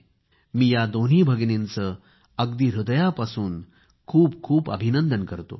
मी या दोन्ही भगिनींचे अगदी हृदयापासून खूप खूप अभिनंदन करतो